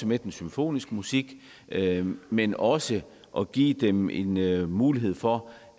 med den symfoniske musik men også at give dem en mulighed mulighed for